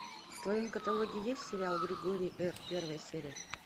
в твоем каталоге есть сериал григорий р первая серия